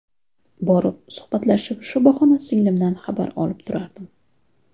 Borib, suhbatlashib, shu bahona singlimdan xabar olib turardim.